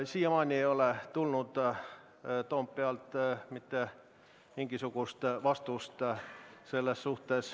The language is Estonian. Siiamaani ei ole aga Toompealt mitte mingisugust vastust tulnud.